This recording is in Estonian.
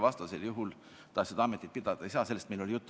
Vastasel juhul ta seda ametit pidada ei saa, sellest oli meil juttu.